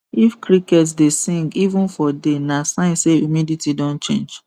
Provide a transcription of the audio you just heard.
if cricket dey sing even for day na sign say humidity don change